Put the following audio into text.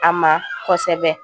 A ma kosɛbɛ